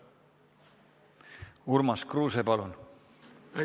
Urmas Kruuse, palun!